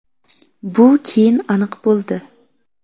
Bu keyin aniq bo‘ldi.